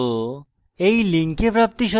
আমি কৌশিক দত্ত এই টিউটোরিয়ালটি অনুবাদ করেছি